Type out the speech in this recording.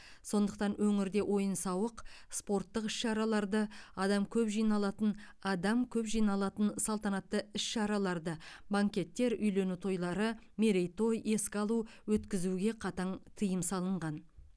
сондықтан өңірде ойын сауық спорттық іс шараларды адам көп жиналатын адам көп жиналатын салтанатты іс шараларды банкеттер үйлену тойлары мерейтой еске алу өткізуге қатаң тыйым салынған